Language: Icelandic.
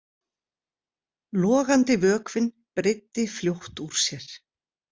Logandi vökvinn breiddi fljótt úr sér.